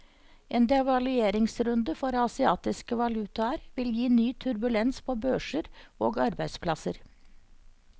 En devalueringsrunde for asiatiske valutaer vil gi ny turbulens på børser og arbeidsplasser.